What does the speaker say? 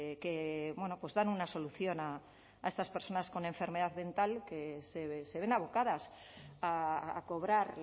que dan una solución a estas personas con enfermedad mental que se ven abocadas a cobrar